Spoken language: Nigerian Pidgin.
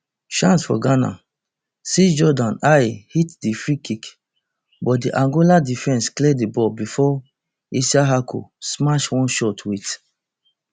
chance for ghana sixjordan ayew hit di freekick but di angola defense clear di ball bifor issahaku smash one shot wit